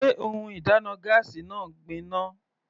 Sé ohun ìdáná gáásì náà gbin ná?